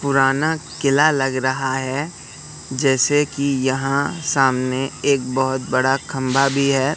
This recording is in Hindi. पुराना किला लग रहा है जैसे कि यहां सामने एक बहुत बड़ा खंभा भी है।